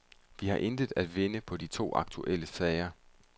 Vi har intet at vinde på de to aktuelle sager.